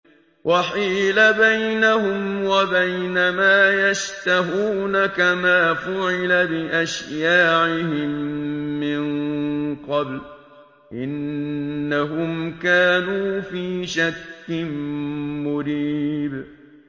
وَحِيلَ بَيْنَهُمْ وَبَيْنَ مَا يَشْتَهُونَ كَمَا فُعِلَ بِأَشْيَاعِهِم مِّن قَبْلُ ۚ إِنَّهُمْ كَانُوا فِي شَكٍّ مُّرِيبٍ